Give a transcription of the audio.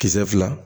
Kisɛ fila